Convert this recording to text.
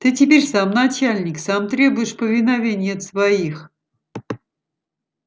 ты теперь сам начальник сам требуешь повиновения от своих